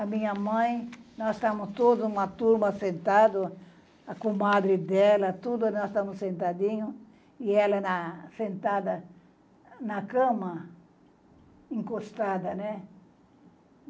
A minha mãe, nós estávamos todos, uma turma sentada, a comadre dela, todos nós estávamos sentadinhos, e ela na sentada na cama, encostada, né?